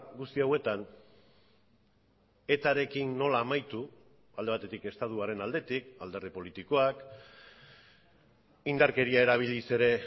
guzti hauetan etarekin nola amaitu alde batetik estatuaren aldetik alderdi politikoak indarkeria erabiliz ere